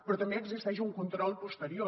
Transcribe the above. però també existeix un control posterior